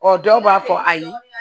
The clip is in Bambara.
Ɔ dɔw b'a fɔ ayi